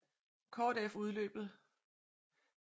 Kort efter udløbet af præsident Harry S